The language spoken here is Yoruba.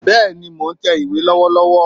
Bẹ́ẹ̀ni mò n tẹ̀ ìwé lọ́wọ́lọ́wọ́